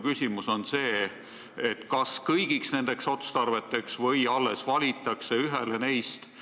Kas silmas peetakse kõiki kolme otstarvet või valitakse üks neist?